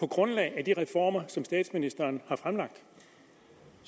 grundlag af de reformer som statsministeren